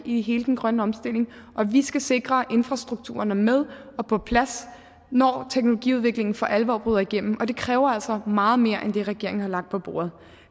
i hele den grønne omstilling og vi skal sikre at infrastrukturen er med og på plads når teknologiudviklingen for alvor bryder igennem og det kræver altså meget mere end det regeringen har lagt på bordet